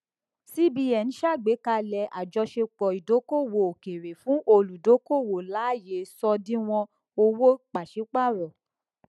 cbn ṣàgbékalẹ àjọṣepọ ìdókòwò òkèèrè fún olùdókòwò láàyè ṣòdiwọn owó pàsípààrọ